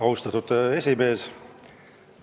Austatud esimees!